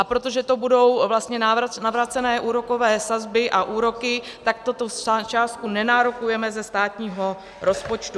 A protože to budou vlastně navrácené úrokové sazby a úroky, tak tuto částku nenárokujeme ze státního rozpočtu.